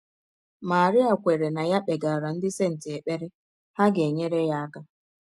Marie kweere na ya kpegara ndị senti ekpere, ha ga - enyere ya aka.